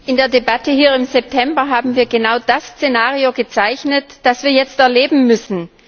In der Debatte im September haben wir genau das Szenario gezeichnet, das wir jetzt erleben müssen.